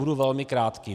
Budu velmi krátký.